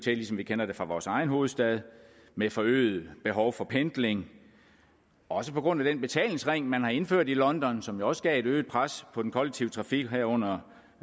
ligesom vi kender det fra vores egen hovedstad med forøget behov for pendling også på grund af den betalingsring man har indført i london som jo også gav et øget pres på den kollektive trafik herunder